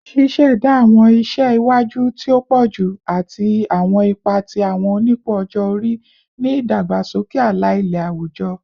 Ṣiṣẹda awọn iṣẹ iwaju ti o pọju ati awọn ipa ti awọn onipò ọjọ-ori ni idagbasoke ala-ilẹ awujọ